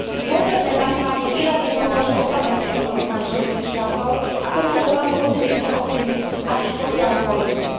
Dôsledné zdaňovanie výrazne pomôže oslabeným ekonomikám členských štátov a to môže veľmi pozitívne ovplyvniť aj ich sociálnu politiku.